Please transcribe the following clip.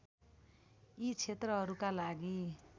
यी क्षेत्रहरूका लागि